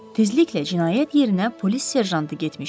Tezliklə cinayət yerinə polis serjantı getmişdi.